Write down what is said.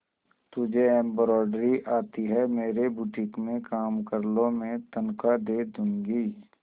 तुझे एंब्रॉयडरी आती है मेरे बुटीक में काम कर लो मैं तनख्वाह दे दूंगी